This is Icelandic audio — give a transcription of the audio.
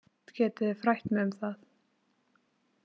Getið þið frætt mig um það.